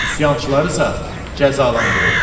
Üsyançıları isə cəzalandırıb.